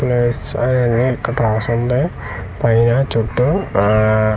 Plus I అని ఇక్కడ రాసి ఉంది పైన చుట్టు ఆఆ .